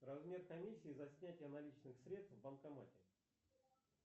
размер комиссии за снятие наличных средств в банкомате